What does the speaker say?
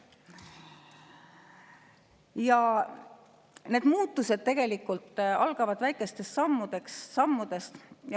Need muutused algavad väikestest sammudest.